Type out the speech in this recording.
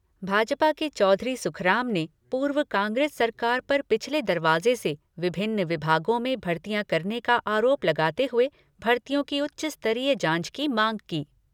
भाजपा के चौधरी सुखराम ने पूर्व कांग्रेस सरकार पर पिछले दरवाजे से विभिन्न विभागों में भर्तियाँ करने का आरोप लगाते हुए, भर्तियों की उच्च स्तरीय जांच की मांग की।